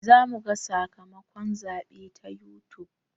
Za muga sakamakon zaɓe ta yutub